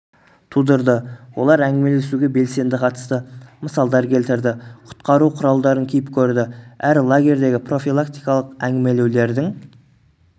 тудырды олар әңгімелесуге белсенді қатысты мысалдар келтірді құтқару құралдарын киіп көрді әр лагердегі профилактикалық әңгімелеулердің